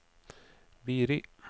Biri